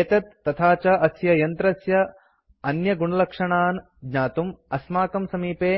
एतत् तथा च अस्य यन्त्रस्य अन्यगुणलक्षणान् ज्ञातुं अस्माकं समीपे